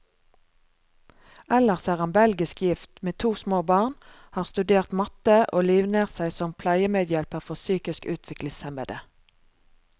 Ellers er han belgisk gift, med to små barn, har studert matte, og livnært seg som pleiemedhjelper for psykisk utviklingshemmede.